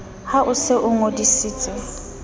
ha o se o ngodisitse